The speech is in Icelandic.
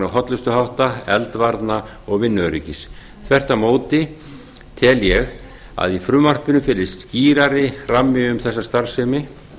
hollustuhátta eldvarna og vinnuöryggis þvert á móti tel ég að í frumvarpinu felist skýrari rammi um þessa starfsemi